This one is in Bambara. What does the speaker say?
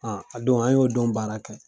a don an y'o don baara kɛ.